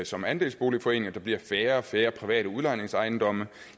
som andelsboligforening der bliver færre og færre private udlejningsejendomme